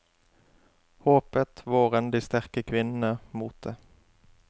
Håpet, våren, de sterke kvinnene, motet.